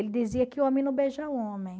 Ele dizia que homem não beija homem.